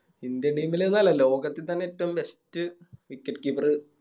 Indian team ല് ന്നല്ല ലോകത്തി തന്നെ ഏറ്റോം Best wicket keeper